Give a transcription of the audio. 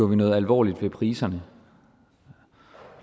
noget alvorligt ved priserne